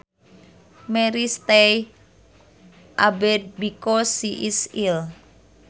Mary stays abed because she is ill